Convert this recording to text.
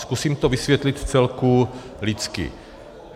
Zkusím to vysvětlit vcelku lidsky.